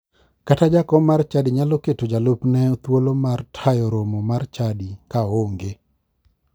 Kata jakom mar chadi nyalo keto jalupne thuolo mar tayo romo mar chadi ka oonge.